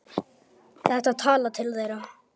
Þetta talar til þeirra.